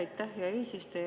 Aitäh, hea eesistuja!